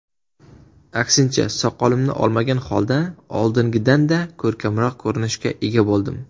Aksincha, soqolimni olmagan holda oldingidanda ko‘rkamroq ko‘rinishga ega bo‘ldim.